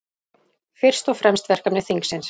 Fyrst og fremst verkefni þingsins